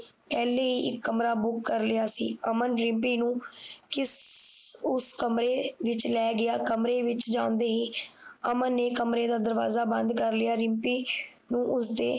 ਪਹਿਲਾ ਹੀ ਇਕ ਕਮਰਾ ਬੁਕ ਕਰ ਲਿਆ ਸੀ ਅਮਨ ਰਿਮਪੀ ਨੀ ਕਿਸ ਉਸ ਕਮਰੇ ਵਿਚ ਲੈ ਗਿਆ ਕਮਰੇ ਵਿਚ ਜਾਂਦੇ ਹੀ ਅਮਨ ਨੇ ਕਮਰੇ ਦਾ ਦਰਵਾਜਾ ਬੰਦ ਕਰ ਲਿਆ ਰਿਮਪੀ ਨੂੰ ਉਸਦੇ